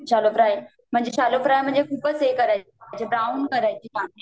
shallow fry म्हंजे, shallow fry म्हणजे खूपच हे करायचं, अच्छा ब्राऊन करायचे कांदे